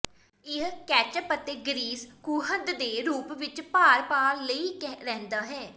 ਇਹ ਕੈਚੱਪ ਅਤੇ ਗਰੀਸ ਖੂੰਹਦ ਦੇ ਰੂਪ ਵਿੱਚ ਭਾਰ ਪਾ ਲਈ ਰਹਿੰਦਾ ਹੈ